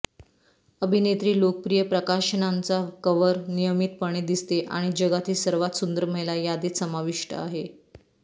अभिनेत्री लोकप्रिय प्रकाशनांचा कव्हर नियमितपणे दिसते आणि जगातील सर्वात सुंदर महिला यादीत समाविष्ट आहे